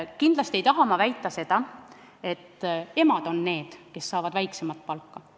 Kindlasti ei taha ma väita, et emad on need, kes saavad väiksemat palka.